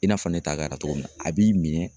I n'a fɔ ne ta kɛra cogo min na a b'i minɛ.